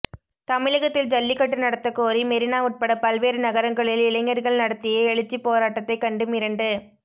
தமிழகத்தில் ஜல்லிக்கட்டு நடத்த கோரி மெரினா உட்பட பல்வேறு நகரங்களில் இளைஞர்கள் நடத்திய எழுச்சி போராட்டத்தை கண்டு மிரண்டு